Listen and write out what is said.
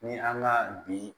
Ni an ga bi